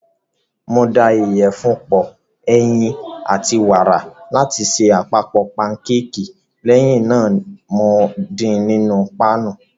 Mo da ìyẹ̀fun pọ, ẹyin, àti wàrà láti ṣe àpapọ̀ pankéèkì, lẹ́yìn náà mo din nínú páànù.